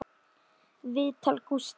Viðtal Gústafs